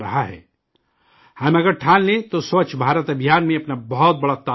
ہم اگر ٹھان لیں تو سووچھ بھارت میں اپنا بہت بڑا تعاون دے سکتے ہیں